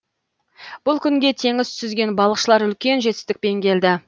бұл күнге теңіз сүзген балықшылар үлкен жетістікпен келді